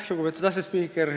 Lugupeetud asespiiker!